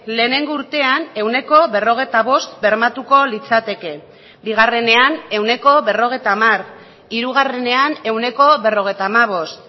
lehenengo urtean ehuneko berrogeita bost bermatuko litzateke bigarrenean ehuneko berrogeita hamar hirugarrenean ehuneko berrogeita hamabost